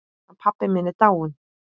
Hann pabbi minn er dáinn.